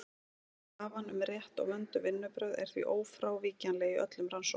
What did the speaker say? Krafan um rétt og vönduð vinnubrögð er því ófrávíkjanleg í öllum rannsóknum.